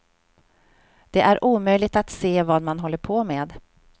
Det är omöjligt att se vad man håller på med.